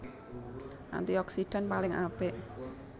Antioksidan paling apik